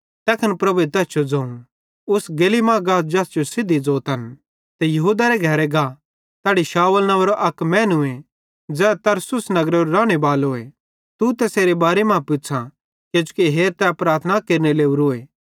तैखन प्रभुए तैस जो ज़ोवं उस गेली मां गा ज़ैस जो सिद्धी ज़ोतन ते यहूदारे घरे गा तैड़ी शाऊल नव्वेंरो अक मैनूए ज़ै तरसुस नगरेरो रानेबालोए तू तैसेरे बारे मां पुछ़ां किजोकि हेरा तै प्रार्थना केरने लोरोए